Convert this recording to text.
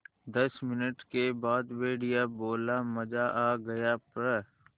दस मिनट के बाद भेड़िया बोला मज़ा आ गया प्